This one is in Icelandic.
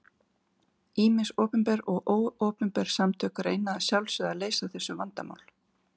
Ýmis opinber og óopinber samtök reyna að sjálfsögðu að leysa þessu vandamál.